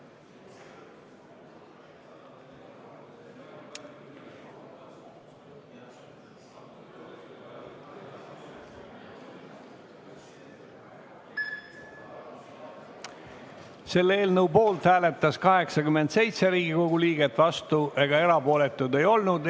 Hääletustulemused Selle eelnõu poolt hääletas 87 Riigikogu liiget, vastuolijaid ega erapooletuid ei olnud.